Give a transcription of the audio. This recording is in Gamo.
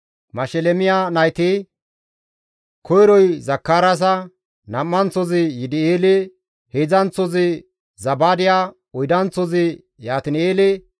Mashelemiya nayti, koyroy Zakaraasa, nam7anththozi Yidi7eele, heedzdzanththozi Zabaadiya, oydanththozi Yaatin7eele,